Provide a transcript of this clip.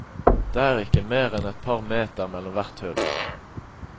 Det er ikke mer enn et par meter mellom hvert hull.